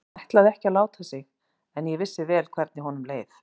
Hann ætlaði ekki að láta sig en ég vissi vel hvernig honum leið.